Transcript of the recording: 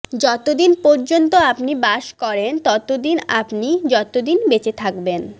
যতদিন পর্যন্ত আপনি বাস করেন ততদিন আপনি যতদিন বেঁচে থাকবেন